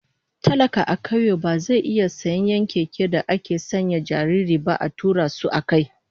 Talaka a kauye ba zai iya sayen 'yan keken da ake sanya jarirai ba a tura su akai.